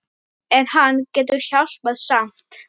En hann getur hjálpað samt.